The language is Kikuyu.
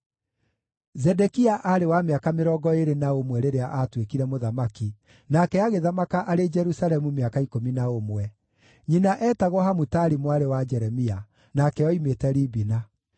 Zedekia aarĩ wa mĩaka mĩrongo ĩĩrĩ na ũmwe rĩrĩa aatuĩkire mũthamaki, nake agĩthamaka arĩ Jerusalemu mĩaka ikũmi na ũmwe. Nyina eetagwo Hamutali mwarĩ wa Jeremia; nake oimĩte Libina.